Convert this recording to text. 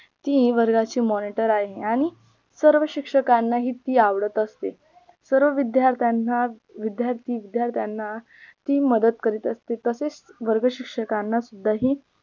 ती वर्गाची monitor आहे आणि सर्व शिक्षकांना ती आवडत असते सर्व विद्यार्थ्यांना विद्यार्थी विद्यार्थ्यांना ती मदत करत असते तसेच वर्ग शिक्षकांना सुद्धा ही